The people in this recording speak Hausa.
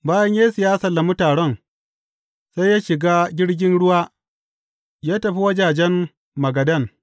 Bayan Yesu ya sallami taron, sai ya shiga jirgin ruwa ya tafi wajajen Magadan.